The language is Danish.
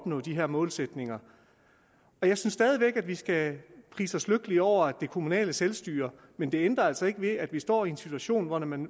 nå de her målsætninger jeg synes stadig væk at vi skal prise os lykkelige over det kommunale selvstyre men det ændrer altså ikke ved at vi står i en situation hvor man